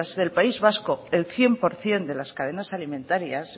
de las del país vasco el cien por ciento de las cadenas alimentarias